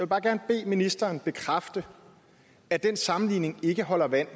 bare gerne bede ministeren bekræfte at den sammenligning ikke holder vand